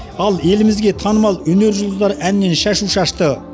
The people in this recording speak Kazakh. ал елімізге танымал өнер жұлдыздары әннен шашу шашты